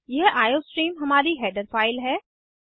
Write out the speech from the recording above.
यह आईओस्ट्रीम हमारी header file है